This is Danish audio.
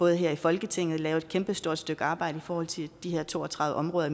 her i folketinget gøre et kæmpestort stykke arbejde i forhold til de her to og tredive områder